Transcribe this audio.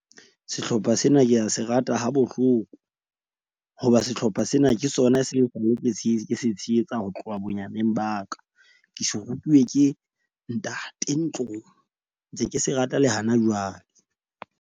Sehlopha sena ke a se rata ha bohloko hoba sehlopha sena ke sona ke se ke se tshehetsa ho tloha bonyaneng ba ka. Ke se rutuwe ke ntate ntlong, ntse ke se rata le hana jwale.